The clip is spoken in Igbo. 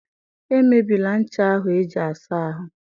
Emebịla ncha ahụ eji-asa ahụ